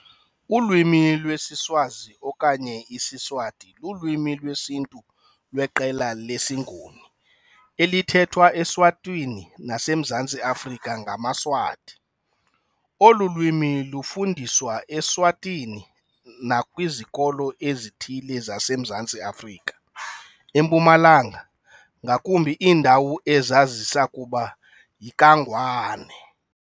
Ulwimi lwesiSwazi okanye isiSwati lulwimi lwesiNtu lweqela lesiNguni elithethwa eSwatini naseMzantsi Afrika ngamaSwati. Olu lwimi lufundiswa eSwatini nakwizikolo ezithile zaseMzantsi Afrika eMpumalanga, ngakumbi iindawo ezazisakuba yiKaNgwane.